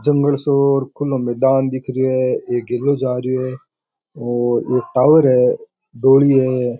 जंगल सो और खुला मैदान दिख रियो है एक गेलो जा रियो है और एक टॉवर है डोली है।